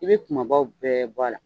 I bɛ kumabaw bɛɛ bɔ a la.